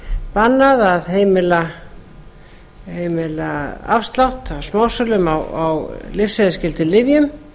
bannað að heimila afslátt af smásölum á lyfseðilsskyldum lyfjum